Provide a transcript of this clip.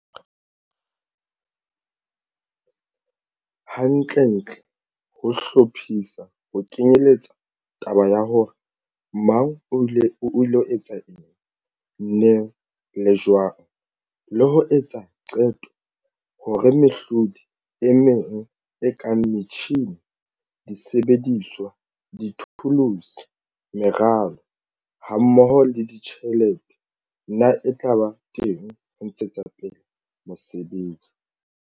Hantlentle, ho hlophisa ho kenyeletsa taba ya hore mang o ilo etsa eng, neng le jwang, le ho etsa qeto hore mehlodi e meng e kang metjhine, disebediswa, dithuluse, meralo hammoho le ditjhelete na e tla ba teng ho ntshetsa pele mosebetsi.